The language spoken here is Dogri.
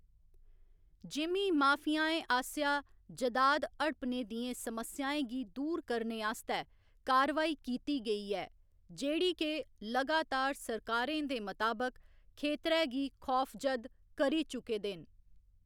जिमीं माफियाएं आसेआ जैदाद हड़पने दियें समस्याएं गी दूर करने आस्तै कार्रवाई कीती गेई ऐ, जेह्‌‌ड़ी के लगातार सरकारें दे मताबक, खेतरै गी खौफजद करी चुके दे न।